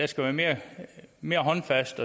skal være mere håndfast